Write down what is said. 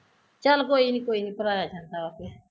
ਚੱਲ ਕੋਈ ਨੀ ਕੋਈ ਨੀ ਭਰਾਇਆ ਜਾਂਦਾ ਆਪੇ